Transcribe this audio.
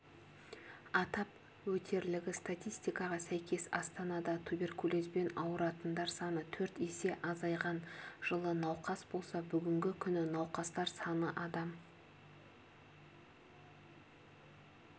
атап өтерлігі статистикаға сәйкес астанада туберкулезбен ауыратындар саны төрт есе азайған жылы науқас болса бүгінгі күні науқастар саны адам